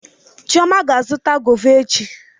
Chioma ga-azụta gọva echi.